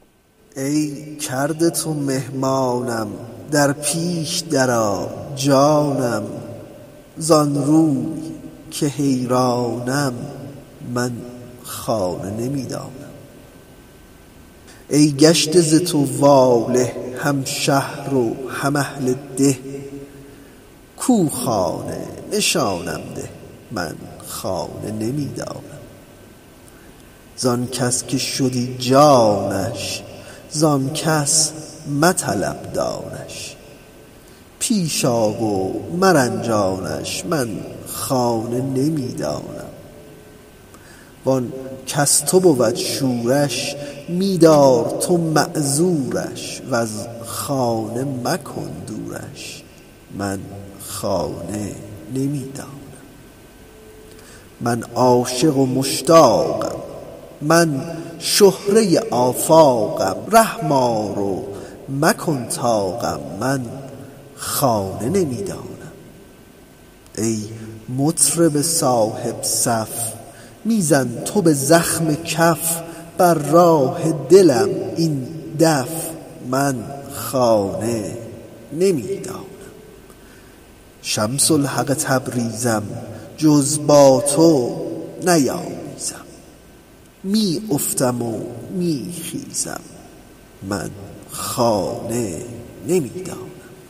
ای کرده تو مهمانم در پیش درآ جانم زان روی که حیرانم من خانه نمی دانم ای گشته ز تو واله هم شهر و هم اهل ده کو خانه نشانم ده من خانه نمی دانم زان کس که شدی جانش زان کس مطلب دانش پیش آ و مرنجانش من خانه نمی دانم وان کز تو بود شورش می دار تو معذورش وز خانه مکن دورش من خانه نمی دانم من عاشق و مشتاقم من شهره آفاقم رحم آر و مکن طاقم من خانه نمی دانم ای مطرب صاحب صف می زن تو به زخم کف بر راه دلم این دف من خانه نمی دانم شمس الحق تبریزم جز با تو نیامیزم می افتم و می خیزم من خانه نمی دانم